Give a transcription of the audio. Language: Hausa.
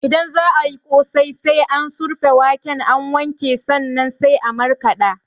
Idan za ayi ƙosai, sai an surfa waken an wanke sannan sai an markaɗa